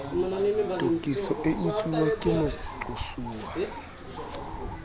tokiso e etsuwe ke moqosuwa